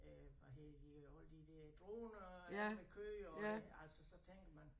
Øh hvad hedder de alle de der droner og dem der kører og altså så tænker man